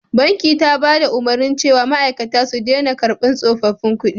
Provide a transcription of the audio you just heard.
Banki ta bada umarni cewa ma'aikata su dena karban tsofaffin kudi